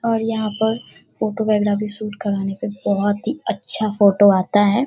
और यहाँ पर फोटोग्राफी शूट कराने पे बोहत ही अच्छा फोटो आता है।